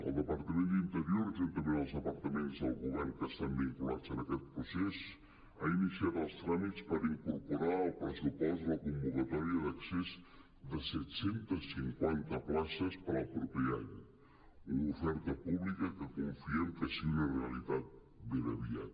el departament d’interior juntament amb els de·partaments del govern que estan vinculats a aquest procés ha iniciat els tràmits per incorporar al pressupost la convocatòria d’accés de set cents i cinquanta places per al proper any una oferta pública que confiem que sigui una realitat ben aviat